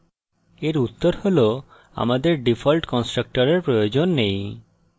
এর উত্তর হল আমাদের ডিফল্ট কন্সট্রাকটরের প্রয়োজন নেই